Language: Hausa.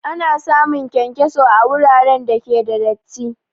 Ana samun kyankyaso a wuraren da ke da datti